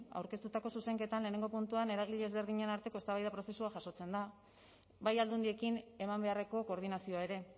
aurkeztutako zuzenketan lehenengo puntuan eragile ezberdinen arteko eztabaida prozesu bat jasotzen da bai aldundiekin eman beharreko koordinazioa ere